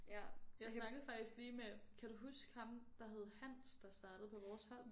Ja jeg snakkede faktisk lige med kan du huske ham der hed Hans der startede på vores hold?